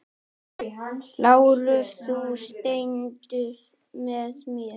LÁRUS: Þú stendur með mér.